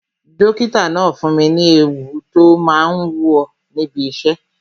Dókítà náà fún mi ní èwù tó máa ń wò níbi isẹ